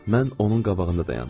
Mən onun qabağında dayandım.